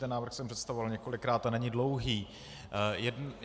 Ten návrh jsem představoval několikrát a není dlouhý.